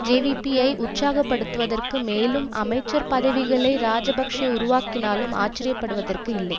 JVP ஐ உற்சாகப்படுத்துவதற்கு மேலும் அமைச்சர் பதவிகளை இராஜபக்ஷ உருவாக்கினாலும் ஆச்சரிய படுவதற்கு இல்லை